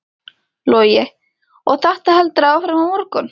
Logi: Og þetta heldur áfram á morgun?